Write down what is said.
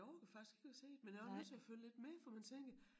Jeg orker faktisk ikke at se det men jeg også nødt til at følge lidt med for man tænker